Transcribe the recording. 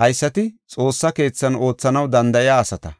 Haysati Xoossa keethan oothanaw danda7iya asata.